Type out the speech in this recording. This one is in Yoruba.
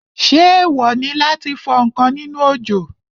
Ṣé èèwò láti fọ ǹkan nínú òjò?